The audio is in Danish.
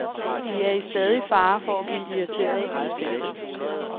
De er i stadig fare for at blive irriteret og betændte.